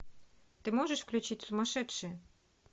ты можешь включить сумасшедшие